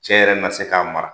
Cɛ yɛrɛ na se ka mara